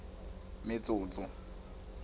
metsotso